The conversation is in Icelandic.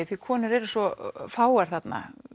því konur eru svo fáar þarna